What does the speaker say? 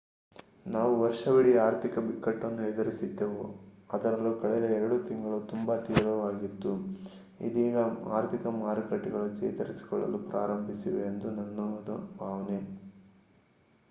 ನಾವು ವರ್ಷವಿಡೀ ಆರ್ಥಿಕ ಬಿಕ್ಕಟ್ಟನ್ನು ಎದುರಿಸಿದ್ದೆವು ಅದರಲ್ಲೂ ಕಳೆದ ಎರಡು ತಿಂಗಳು ಅದು ತುಂಬಾ ತೀವ್ರವಾಗಿತ್ತು ಇದೀಗ ಆರ್ಥಿಕ ಮಾರುಕಟ್ಟೆಗಳು ಚೇತರಿಸಿಕೊಳ್ಳಲು ಪ್ರಾರಂಭಿಸಿವೆ ಎಂಬುದು ನನ್ನ ಭಾವನೆ